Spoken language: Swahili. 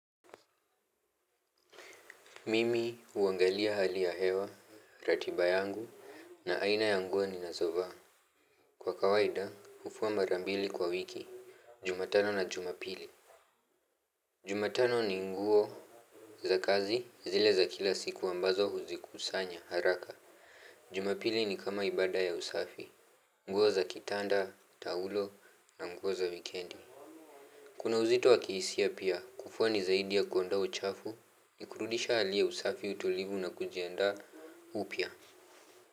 Mimi huangalia hali ya hewa, ratiba yangu na aina ya nguo ninazovaa. Kwa kawaida, ufua mara mbili kwa wiki, jumatano na jumapili. Jumatano ni nguo za kazi zile za kila siku ambazo huzikusanya haraka. Jumapili ni kama ibada ya usafi. Nguo za kitanda, taulo na nguo za wikendi. Kuna uzito wa kihisia pia kufua ni zaidi ya kuondoa uchafu ya kurudisha hali ya usafi utolivu na kujianda upya.